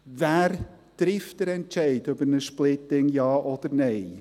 Wer trifft den Entscheid über ein Splitting, ja oder nein?